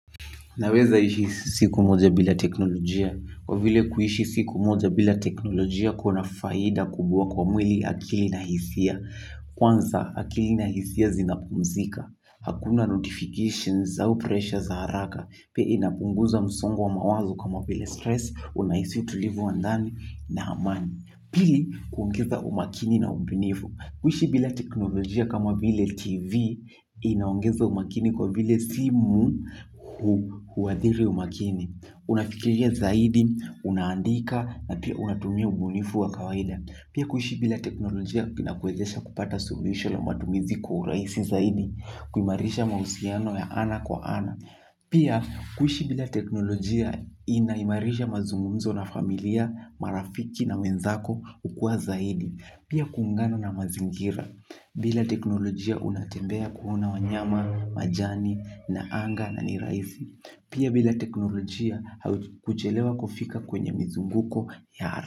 Naweza ishi siku moja bila teknolojia, kwa vile kuishi siku moja bila teknolojia kuna faida kubwa kwa mwili, akili na hisia. Kwanza akili na hisia zinapumzika, hakuna notifications au presha za haraka, pia inapunguza msongo wa mawazo kama bila stress, unaisi utulivu wandani na amani. Pili kuongeza umakini na ubunifu. Kuishi bila teknolojia kama bile tv inaongeza umakini kwa vile simu huadhiri umakini. Unafikiria zaidi, unaandika na pia unatumia ubunifu wa kawaida. Pia kuishi bila teknolojia inakuezesha kupata suhulisho la matumizi kwa urahisi zaidi, kumairisha mahusiano ya ana kwa ana. Pia kuishi bila teknolojia inaimarisha mazungumzo na familia, marafiki na mwenzako kukua zaidi. Pia kuungana na mazingira. Bila teknolojia unatembea kuona wanyama, majani na anga na niraisi. Pia bila teknolojia kuchelewa kufika kwenye mizunguko ya ara.